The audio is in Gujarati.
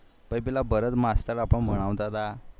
પહી પેલા ભારત માસ્ટર આપણ ને ભણાવતા